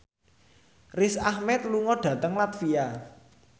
Riz Ahmed lunga dhateng latvia